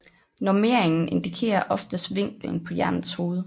Nummeringen indikerer oftest vinklen på jernets hoved